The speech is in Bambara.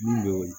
Min don